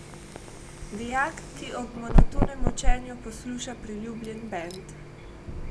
Dijak, ki ob monotonem učenju posluša priljubljen bend.